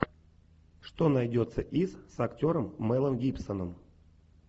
что найдется из с актером мэлом гибсоном